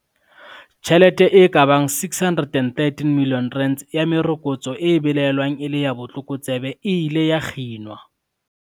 Tjhelete e ka bang R613 milione ya merokotso e belaelwang e le ya botlokotsebe e ile ya kginwa.